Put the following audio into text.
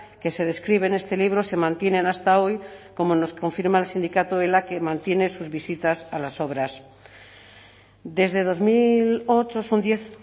que se describe en este libro se mantienen hasta hoy como nos confirma el sindicato ela que mantiene sus visitas a las obras desde dos mil ocho son diez